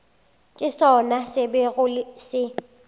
ke sona se bego se